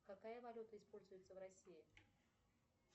какая валюта используется в россии